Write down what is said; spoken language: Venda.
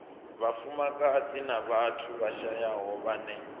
vhafumakadzi na vhathu vhashayaho vhane